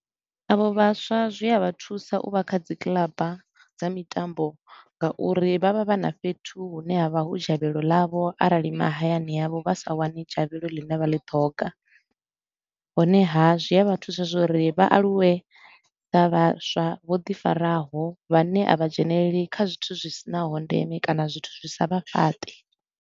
Avho vhaswa zwi a vha thusa u vha kha dzi kiḽaba dza mitambo nga uri vha vha vha na fhethu hune ha vha hu dzhavhelo ḽavho arali mahayani a vho vha sa wani dzhavhelo ḽine vha ḽi thoga. Honeha, zwi a vha thusa zwa uri vha aluwe sa vhaswa vho ḓi faraho, vhane a vha dzheneleli kha zwithu zwi si naho ndeme kana zwithu zwi sa vha fhaṱi.